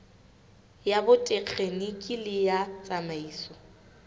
ya botekgeniki le ya tsamaiso